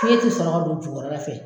Fiyɛn tɛ sɔrɔ ka don jukɔrɔ la fɛ.